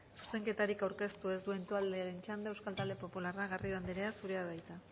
zuzenketarik aurkeztu ez duen taldearen txanda euskal talde popularra garrido anderea zurea da hitza